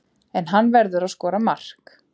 En hann verður að skora mark.